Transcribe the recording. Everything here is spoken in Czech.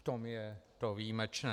V tom je to výjimečné.